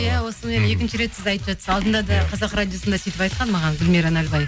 иә осымен екінші рет сіз айтып жатырсыз алдында да қазақ радиосында сөйтіп айтқан маған гүлмира налыбай